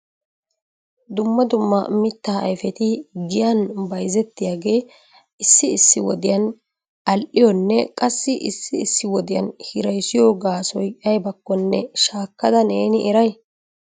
Dumma dumma mitta ayfeti giyan bayzzetiyaage issi issi wodiyaa al"iyonne qassi issi issi wodiyan hirassiyo gaassoy aybbakkome shaakada neeni eray?